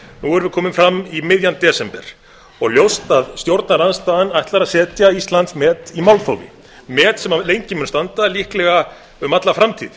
við komin fram í miðjan desember og ljóst að stjórnarandstaðan ætlar að setja íslandsmet í málþófi met sem lengi mun standa líklega um alla framtíð